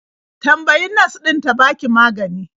Tambayi nas ɗin ta baka magani.